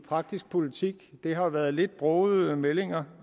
praktisk politik det har været lidt brogede meldinger